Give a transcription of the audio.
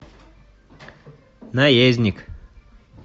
наездник